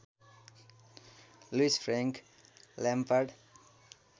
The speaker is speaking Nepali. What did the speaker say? Louis Frank Lampard